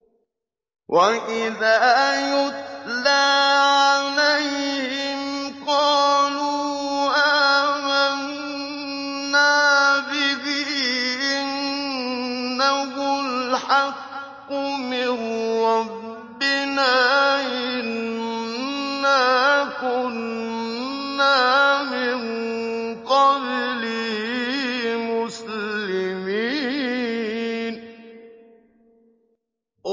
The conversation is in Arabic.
وَإِذَا يُتْلَىٰ عَلَيْهِمْ قَالُوا آمَنَّا بِهِ إِنَّهُ الْحَقُّ مِن رَّبِّنَا إِنَّا كُنَّا مِن قَبْلِهِ مُسْلِمِينَ